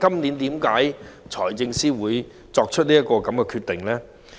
然而，為何財政司今年作出這樣的決定呢？